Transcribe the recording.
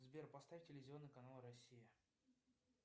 сбер поставь телевизионный канал россия